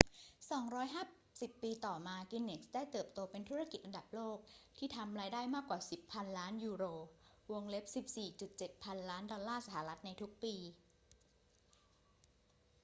250 ปีต่อมา กินเนสส์ได้เติบโตเป็นธุรกิจระดับโลกที่ทำรายได้มากกว่า 10 พันล้านยูโร 14.7 พันล้านดอลลาร์สหรัฐ ในทุกปี